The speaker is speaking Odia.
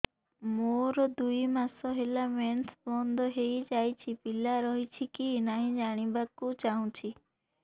ମୋର ଦୁଇ ମାସ ହେଲା ମେନ୍ସ ବନ୍ଦ ହେଇ ଯାଇଛି ପିଲା ରହିଛି କି ନାହିଁ ଜାଣିବା କୁ ଚାହୁଁଛି